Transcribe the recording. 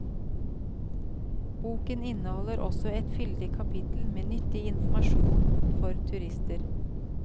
Boken inneholder også et fyldig kapittel med nyttig informasjon for turister.